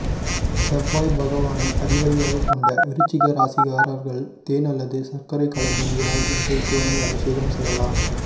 செவ்வாய் பகவானை அதிபதியாகக் கொண்ட விருச்சிக ராசிக்காரர்கள் தேன் அல்லது சர்க்கரை கலந்த நீரால் இன்று சிவனை அபிஷேகம் செய்யலாம்